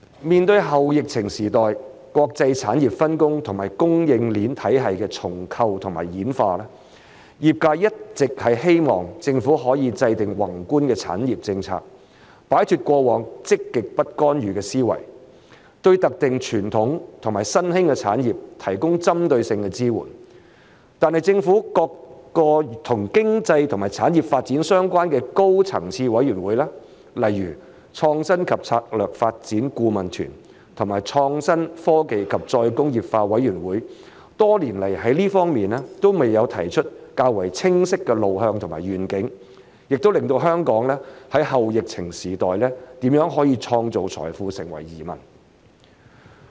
面對後疫情時代國際產業分工和供應鏈體系的重構和演化，業界一直希望政府可以制訂宏觀的產業政策，擺脫過往積極不干預的思維，對特定傳統和新興的產業提供針對性支援，但是政府各個與經濟和產業發展相關的高層次委員會，例如創新及策略發展顧問團和創新、科技及再工業化委員會，多年來在這方面都沒有提出較為清晰的路向和願景，也令到香港在後疫情時代如何可以創造財富成為疑問。